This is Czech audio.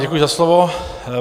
Děkuji za slovo.